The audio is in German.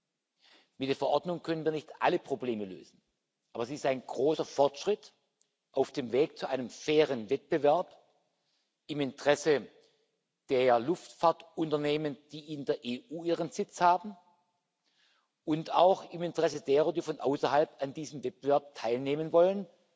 Mit dieser Verordnung können wir nicht alle Probleme lösen, aber sie ist ein großer Fortschritt auf dem Weg zu einem fairen Wettbewerb im Interesse der Luftfahrtunternehmen, die in der EU ihren Sitz haben, und auch im Interesse derer, die von außerhalb an diesem Wettbewerb teilnehmen wollen,